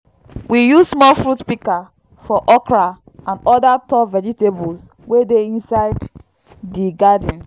we use small fruit pika for okra and oda tall vegetables wey dey inside di garden